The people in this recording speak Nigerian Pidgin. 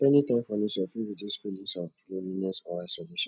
spending time for nature fit reduce feelings of loneliness or isolation